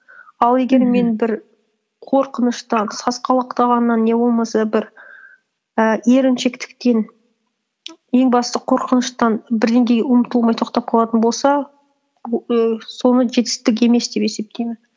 ал егер мен бір қорқыныштан сасқалақтағаннан не болмаса бір і еріншектіктен ең бастысы қорқыныштан бірдеңеге ұмтылмай тоқтап қалатын болса і соны жетістік емес деп есептеймін